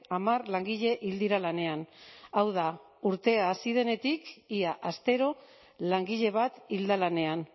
hamar langile hil dira lanean hau da urtea hasi denetik ia astero langile bat hil da lanean